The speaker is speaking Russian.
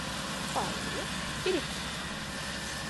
фаина переплетова